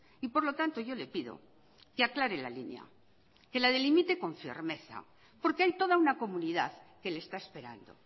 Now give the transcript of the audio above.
y por lo tanto yo le pido que aclare la línea que la delimite con firmeza porque hay toda una comunidad que le está esperando